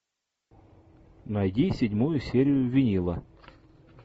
найди седьмую серию винила